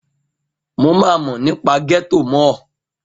Mo máa mọ̀ nípa Ghetto more